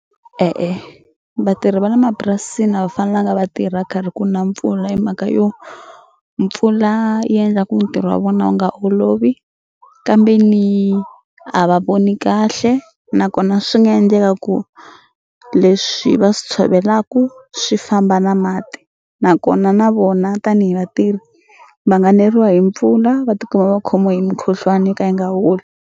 E-e, vatirhi va le mapurasini a va fanelanga va tirha karhi ku na mpfula hi mhaka yo mpfula yi endla ku ntirho wa vona wu nga olovi kambe ni a va voni kahle nakona swi nga endleka ku leswi va swi tshovela ku swi famba na mati nakona na vona tanihi vatirhi va nga neriwa hi mpfula va tikuma va khomiwe hi mukhuhlwani yo ka yi nga holi.